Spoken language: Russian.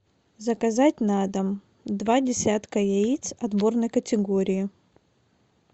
заказать на дом два десятка яиц отборной категории